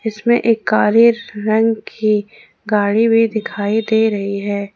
इसमें एक काली रंग की गाड़ी भी दिखाई दे रही है।